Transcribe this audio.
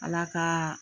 Ala ka